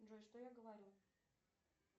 джой что я говорю